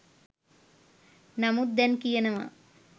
නමුත් දැන් කියනවා